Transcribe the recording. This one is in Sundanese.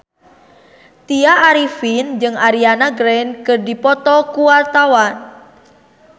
Tya Arifin jeung Ariana Grande keur dipoto ku wartawan